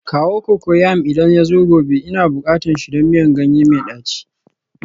Kawo cocoyam idan yazo gobe, Ina bukatan shi don miyan ganye mai daci